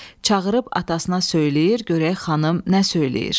Çağırıb atasına söyləyir, görək xanım nə söyləyir.